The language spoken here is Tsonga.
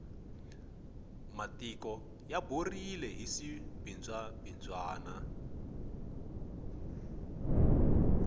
matiko ya borile hi swibindzwa bindzwana